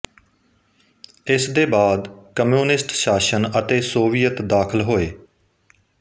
ਇਸਦੇ ਬਾਅਦ ਕਮਿਊਨਿਸਟ ਸ਼ਾਸਨ ਅਤੇ ਸੋਵੀਅਤ ਦਾਖਲ ਹੋਏ